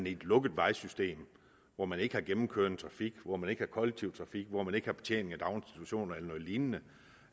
i et lukket vejsystem hvor man ikke har gennemkørende trafik hvor man ikke har kollektiv trafik hvor man ikke har betjening af daginstitutioner eller noget lignende